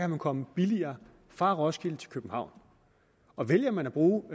man komme billigere fra roskilde til københavn og vælger man at bruge